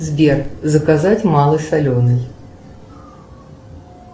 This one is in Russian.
сбер заказать малый соленый